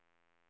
nickade